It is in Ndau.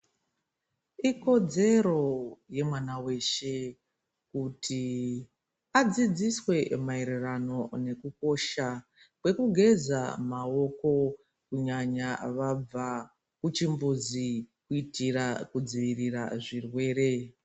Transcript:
Ikodzero yemwana veshe kuti adzidziswe maererano nekukosha kwekugeza maoko. Kunyanya vabva kuchimbuzi kuitira kudzivirira zvirwere.